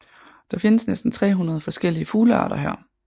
Der findes næsten 300 forskellige fuglearter her